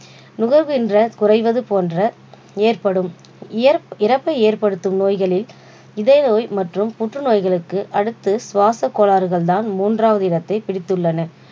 நுகர்கின்ற குறைவது போன்ற ஏற்படும் ஏற்~இறப்பை ஏற்படுத்தும் நோய்களில் இதய நோய் மற்றும் புற்று நோய்களுக்கு அடுத்து சுவாச கோளாறுகள் தான் மூன்றாவது இடத்தை பிடித்துள்ளனர்.